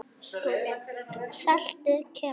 SKÚLI: Saltið kemur.